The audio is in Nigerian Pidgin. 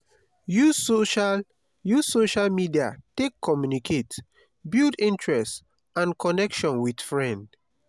use social use social media take communicate build interest and connection with friend